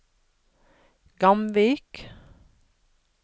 Gamvik